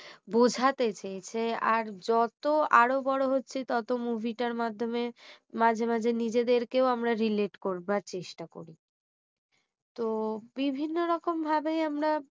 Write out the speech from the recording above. বোঝাতে চেয়েছে আর যত আরও বড় হচ্ছে তত movie টার মাধ্যমে মাঝে মাঝে নিজেদেরকেও আমরা relate করবার চেষ্টা করি তো বিভিন্ন রকম ভাবেই আমরা